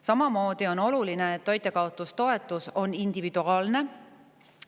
Samuti on oluline, et toitjakaotustoetus on individuaalne.